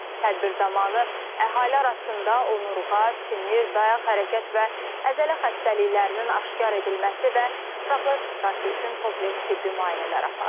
Tədbir zamanı əhali arasında onurğa, sinir, dayaq, hərəkət və əzələ xəstəliklərinin aşkar edilməsi və profilaktikası üçün kompleks tibbi müayinələr aparılır.